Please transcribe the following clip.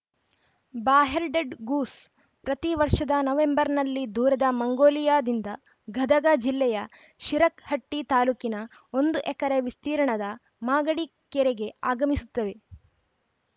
bar-headed goose ಪ್ರತಿ ವರ್ಷದ ನವೆಂಬರ್‌ನಲ್ಲಿ ದೂರದ ಮಂಗೋಲಿಯಾದಿಂದ ಗದಗ ಜಿಲ್ಲೆಯ ಶಿರಹಟ್ಟಿತಾಲೂಕಿನ ಒಂದು ಎಕರೆ ವಿಸ್ತೀರ್ಣದ ಮಾಗಡಿ ಕೆರೆಗೆ ಆಗಮಿಸುತ್ತವೆ